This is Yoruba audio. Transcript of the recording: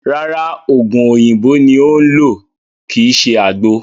Rárá, ògùn oòyìnbó ni ó ń lò kíì ṣe àgbo